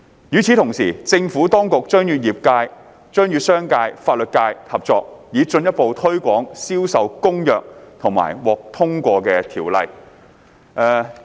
與此同時，政府當局將與商界及法律界合作，以進一步推廣《銷售公約》及獲通過的條例。